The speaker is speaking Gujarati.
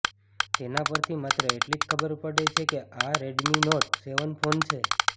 તેના પરથી માત્ર એટલી જ ખબર પડે છે કે આ રેડમી નોટ સેવન ફોન છે